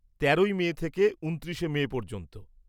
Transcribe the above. তেরোই মে থেকে উনত্রিশে মে পর্যন্ত।